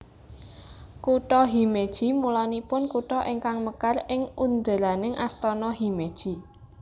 Kutha Himeji mulanipun kutha ingkang mekar ing underaning Astana Himeji